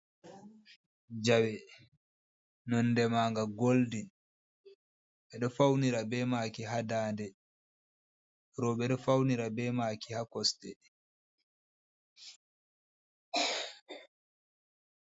Jawe nonde ma nga goldin e ɗo faunira be maki ha nda nde roɓe ɗo faunira be maki ha kosɗe.